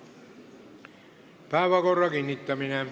Päevakorra kinnitamine.